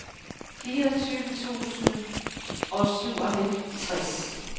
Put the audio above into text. fireogtyve tusind og syvoghalvtreds